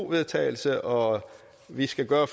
vedtagelse og vi skal gøre